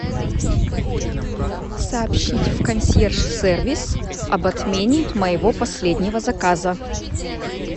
сообщить в консьерж сервис об отмене моего последнего заказа